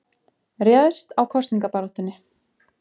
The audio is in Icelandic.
Réðst á kosningabaráttunni